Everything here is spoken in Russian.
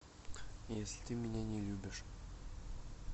если ты меня не любишь